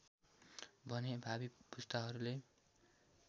भने भावी पुस्ताहरूले